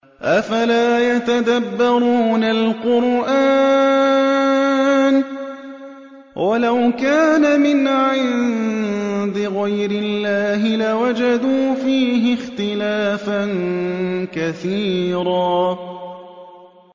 أَفَلَا يَتَدَبَّرُونَ الْقُرْآنَ ۚ وَلَوْ كَانَ مِنْ عِندِ غَيْرِ اللَّهِ لَوَجَدُوا فِيهِ اخْتِلَافًا كَثِيرًا